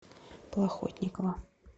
плохотникова